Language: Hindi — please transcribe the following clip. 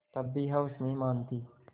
तब भी हवस नहीं मानती